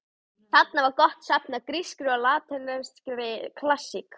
Þarna var gott safn af grískri og latneskri klassík.